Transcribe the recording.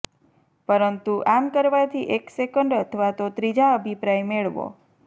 પરંતુ આમ કરવાથી એક સેકન્ડ અથવા તો ત્રીજા અભિપ્રાય મેળવો